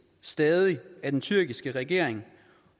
stadig af den tyrkiske regering